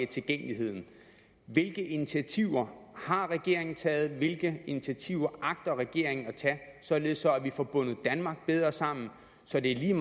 tilgængeligheden hvilke initiativer har regeringen taget og hvilke initiativer agter regeringen at tage således at vi får bundet danmark bedre sammen så det er